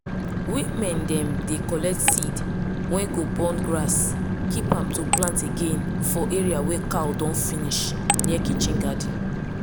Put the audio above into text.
women dem dey collect seed wey go born grass keep am to plant again for areas wey cow don finish near kitchen garden.